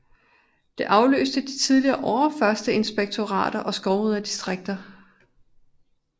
Det afløste de tidligere overførsterinspektorater og skovriderdistrikter